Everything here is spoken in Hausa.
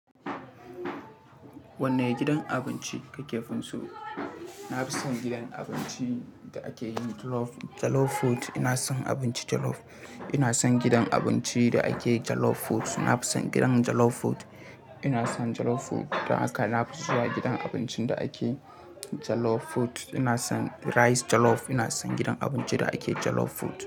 Wanne gidan abinci kake fin so? Na fi son gidan abincin da ake yin jollof food. Ina son abincin jollof. Ina son gidan abinci da ake jollof food. Na fi son gidan jollof food. Ina son jollof food dan haka. Na fi zuwa gidan abincin da ake jollof food. Ina son rice jollof. Ina son gidan abinci da ake jollof food.